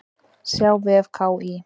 Sjá á vef KÍ.